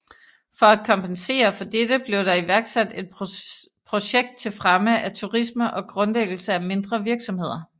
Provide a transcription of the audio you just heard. For at kompensere for dette blev der iværksat et projekt til fremme af turisme og grundlæggelse af mindre virksomheder